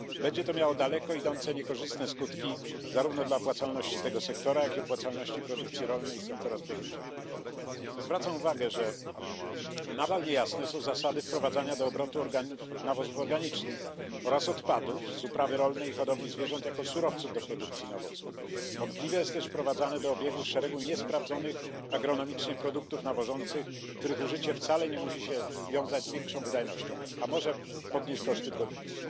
Będzie to miało daleko idące niekorzystne skutki dla opłacalności zarówno tego sektora, jak i produkcji rolnej i sektora spożywczego. Zwracam uwagę, że nadal niejasne są zasady wprowadzania do obrotu nawozów organicznych oraz odpadów z upraw rolnych i hodowli zwierząt jako surowców do produkcji nawozów. Wątpliwe jest też wprowadzanie do obiegu szeregu niesprawdzonych agronomicznie produktów nawożących, których użycie wcale nie musi wiązać się z większą wydajnością, a może podnieść koszty produkcji.